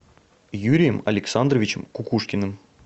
юрием александровичем кукушкиным